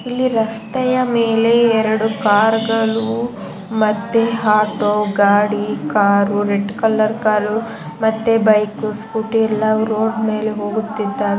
ಇಲ್ಲಿ ರಸ್ತೆಯ ಮೇಲೆ ಎರಡು ಕಾರ್ಗಳು ಮತ್ತೆ ಆಟೋ ಗಾಡಿ ಕಾರ್ ರೆಡ್ ಕಲರ್ ಕಾರು ಮತ್ತೆ ಬೈಕ್ ಸ್ಕೂಟಿ ಎಲ್ಲಾವು ರೋಡ್ ಮೇಲೆ ಹೋಗುತ್ತಿದ್ದಾವೆ.